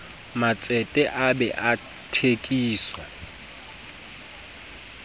matsete a bee a thekiso